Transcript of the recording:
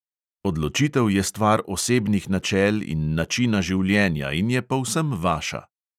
Odločitev je stvar osebnih načel in načina življenja in je povsem vaša.